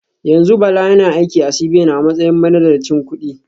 Yanzu Bala yana aiki a CBN a matsayin manazarcin kudi